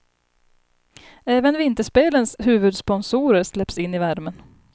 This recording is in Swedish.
Även vinterspelens huvudsponsorer släpps in i värmen.